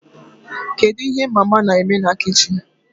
Kedu ihe mama na-eme na kichin?